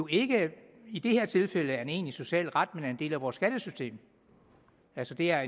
ikke i det her tilfælde er en egentlig social ret men en del af vores skattesystem altså det er